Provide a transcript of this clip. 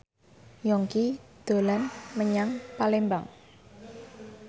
Yongki dolan menyang Palembang